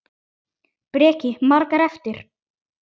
Breki: Margar eftir?